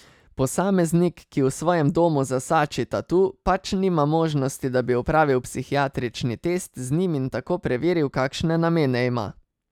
Posameznik, ki v svojem domu zasači tatu, pač nima možnosti, da bi opravil psihiatrični test z njim in tako preveril, kakšne namene ima.